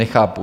Nechápu.